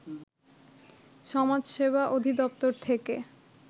সমাজসেবা অধিদপ্তর থেকে